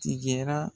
Tigɛra